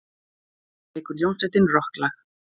Næst leikur hljómsveitin rokklag.